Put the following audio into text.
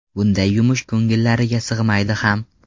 Bunday yumush ko‘ngillariga sig‘maydi ham.